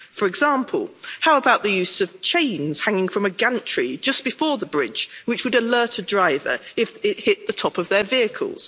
For example, how about the use of chains hanging from a gantry just before the bridge which would alert a driver if it hit the top of their vehicles.